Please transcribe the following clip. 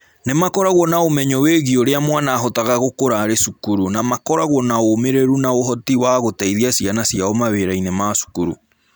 Nĩ makoragwo na ũmenyo wĩgiĩ ũrĩa mwana ahotaga gũkũra arĩ cukuru, na makoragwo na ũmĩrĩru na ũhoti wa gũteithia ciana ciao mawĩra-inĩ ma cukuru.